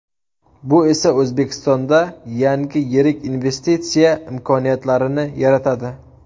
Bu esa O‘zbekistonda yangi yirik investitsiya imkoniyatlarini yaratadi.